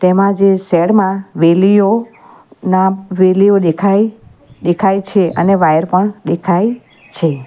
એમા જે શેડમાં વેલીઓ ના વેલીઓ દેખાય દેખાય છે અને વાયર પણ દેખાય છે.